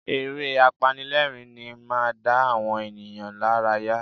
Eré apanilẹ́rìn-ín máa ń dá àwọn ènìyàn lárayá